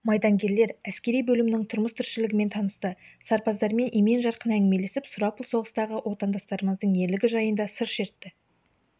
майдангерлер әскери бөлімнің тұрмыс-тіршілігімен танысты сарбаздармен емен-жарқын әңгімелесіп сұрапыл соғыстағы отандастарымыздың ерлігі жайында сыр шертті